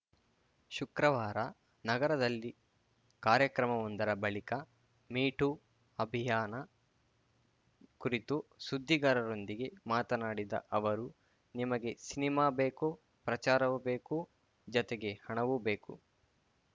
ಶುಕ್ರವಾರ ನಗರದಲ್ಲಿ ಕಾರ್ಯಕ್ರಮವೊಂದರ ಬಳಿಕ ಮೀ ಟೂ ಅಭಿಯಾನ ಕುರಿತು ಸುದ್ದಿಗಾರರೊಂದಿಗೆ ಮಾತನಾಡಿದ ಅವರು ನಿಮಗೆ ಸಿನಿಮಾ ಬೇಕು ಪ್ರಚಾರವೂ ಬೇಕು ಜತೆಗೆ ಹಣವೂ ಬೇಕು